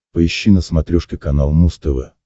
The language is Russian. поищи на смотрешке канал муз тв